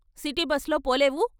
City బస్‌‌లో పోలేవూ?